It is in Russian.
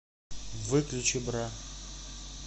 выключи бра